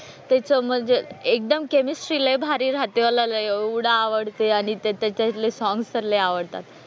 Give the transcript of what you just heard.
त्याचं म्हणजे एकदम केमिस्ट्री लय भारी राहते. मला ना एवढं आवडते आणि ते त्याच्यातले सॉंग्स तर लय आवडतात.